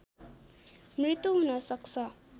मृत्यु हुन सक्छ